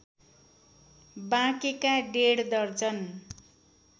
बाँकेका डेढ दर्जन